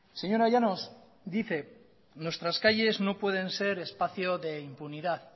señora llanos dice nuestras calles no pueden ser espacios de impunidad